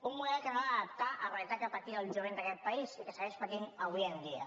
un model que no va adaptar a la realitat que patia el jovent d’aquest país i que segueix patint avui dia